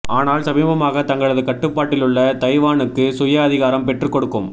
ஆனால் சமீபமாக தங்களது கட்டுப்பாட்டில் உள்ள தைவானுக்கு சுய அதிகாரம் பெற்றுக் கொடுக்கும்